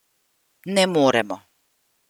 Ne moremo!